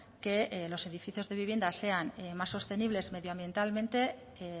que los edificios de vivienda sean más sostenibles medioambientalmente que